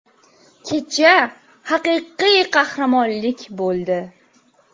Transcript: Kecha haqiqiy qahramonlik bo‘ldi.